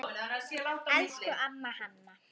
Elsku amma Hanna.